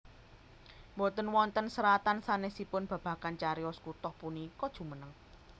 Boten wonten seratan sanesipun babagan cariyos kutah punika jumeneng